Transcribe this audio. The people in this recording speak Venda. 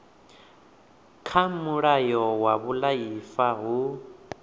kha mulayo wa vhuaifa hu